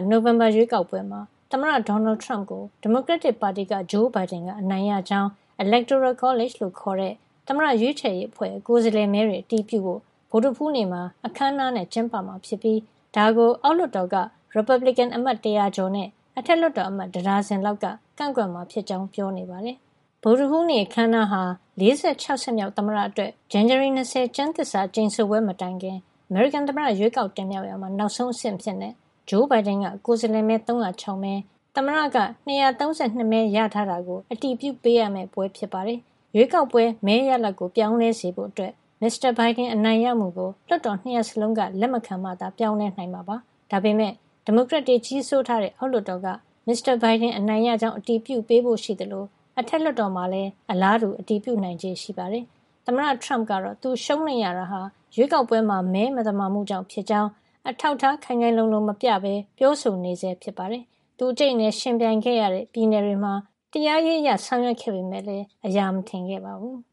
နိုဝင်ဘာရွေးကောက်ပွဲမှာ သမ္မတ Donald Trump ကို ဒီမိုကရက်တစ်ပါတီက Joe Biden က အနိုင်ရကြောင်း Electoral College လို့ခေါ်တဲ့ သမ္မတရွေးချယ်ရေးအဖွဲ့ရဲ့ ကိုယ်စားလှယ်မဲတွေ အတည်ပြုဖို့ ဗုဒ္ဓဟူးနေ့မှာ အခမ်းအနားနဲ့ ကျင်းပမှာဖြစ်ပြီး ဒါကို အောက်လွှတ်တော်က ရီပတ်ဘလစ်ကန် အမတ် ၁၀၀ ကျော်နဲ့ အထက်လွှတ်တော်အမတ် တဒါဇင်လောက်က ကန့်ကွက်မှာဖြစ်ကြောင်း ပြောနေပါတယ်။ ဗုဒ္ဓဟူးနေ့ အခမ်းအနားဟာ ၄၆ ဆက်မြောက် သမ္မတအတွက် ဇန်နဝါရီ ၂၀ ရက် ကျမ်းသစ္စာကျိန်ဆိုပွဲ မတိုင်ခင် အမေရိကန်သမ္မတ ရွေးကောက်တင်မြှောက်ရာမှာ နောက်ဆုံးအဆင့်အဖြစ် Joe Biden ကိုယ်စားလှယ်မဲ ၃၀၆ မဲ၊ သမ္မတက ၂၃၂ မဲ ရထားတာကို အတည်ပြုပေးတဲ့ပွဲ ဖြစ်ပါတယ်။ ရွေးကောက်ပွဲမဲရလဒ်ကို ပြောင်းလဲစေဖို့အတွက် Mr. Biden အနိုင်ရမှုကို လွှတ်တော် ၂ ရပ်စလုံးက လက်မခံမှသာ ပြောင်းလဲနိုင်မှာ ဖြစ်ပါတယ်။ ဒါပေမယ့် ဒီမိုကရက်တွေ ကြီးစိုးထားတဲ့ အောက်လွှတ်တော်က Mr. Biden အနိုင်ရကြောင်း အတည်ပြုပေးဖို့ရှိသလို အထက်လွှတ်တော်မှာလည်း အလားတူ အတည်ပြုနိုင်ချေ ရှိနေပါတယ်။ သမ္မတ Trump ကတော့ သူရှုံးနိမ့်ရတာဟာ ရွေးကောက်ပွဲမှာ မဲမသမာမှုတွေကြောင့် ဖြစ်ကြောင်း အထောက်အထား ခိုင်ခိုင်လုံလုံ မပြဘဲ ပြောဆိုနေဆဲပါ။ သူ အကြိတ်အနယ် ယှဉ်ပြိုင်ခဲ့ရတဲ့ ပြည်နယ်တွေမှာ တရားရေးအရ ဆောင်ရွက်တာတွေ လုပ်ခဲ့ပေမယ့်လည်း အရာမထင်ခဲ့ပါဘူး။